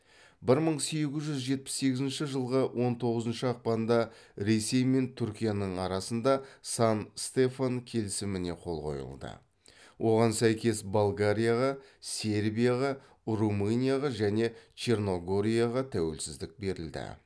бір мың сегіз жүз жетпіс сегізінші жылғы он тоғызыншы ақпанда ресей мен түркияның арасында сан стефан келісіміне қол қойылды оған сәйкес болгарияға сербияға румынияға және черногорияға тәуелсіздік берілді